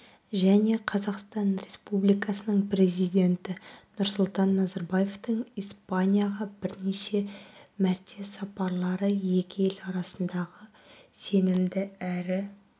және қазақстан республикасының президенті нұрсұлтан назарбаевтың испанияға бірнеше мәрте сапарлары екі ел арасындағы сенімді әрі